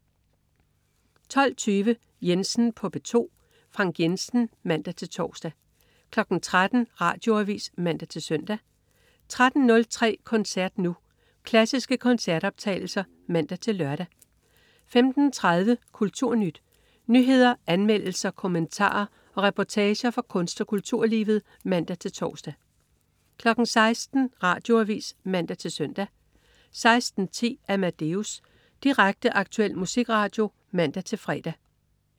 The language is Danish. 12.20 Jensen på P2. Frank Jensen (man-tors) 13.00 Radioavis (man-søn) 13.03 Koncert Nu. Klassiske koncertoptagelser (man-lør) 15.30 KulturNyt. Nyheder, anmeldelser, kommentarer og reportager fra kunst- og kulturlivet (man-tors) 16.00 Radioavis (man-søn) 16.10 Amadeus. Direkte, aktuel musikradio (man-fre)